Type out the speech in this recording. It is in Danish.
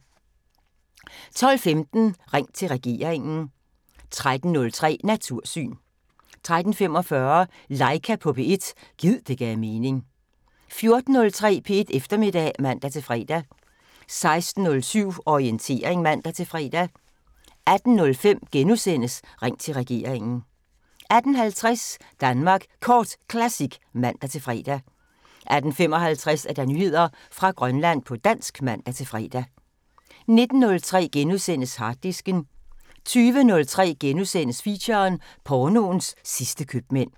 12:15: Ring til regeringen 13:03: Natursyn 13:45: Laika på P1 – gid det gav mening 14:03: P1 Eftermiddag (man-fre) 16:07: Orientering (man-fre) 18:05: Ring til regeringen * 18:50: Danmark Kort Classic (man-fre) 18:55: Nyheder fra Grønland på dansk (man-fre) 19:03: Harddisken * 20:03: Feature: Pornoens sidste købmænd *